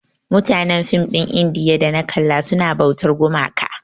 Mutanen film ɗin indiya da na kalla suna bautar gumaka.